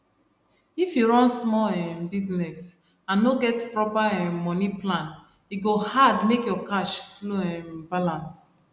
if you run small um business and no get proper um money plan e go hard make your cash flow um balance